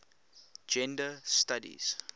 gender studies